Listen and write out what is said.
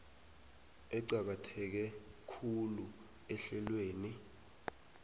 eqakatheke khulu ehlelweni